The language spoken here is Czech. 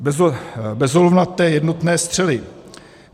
Bezolovnaté jednotné střely.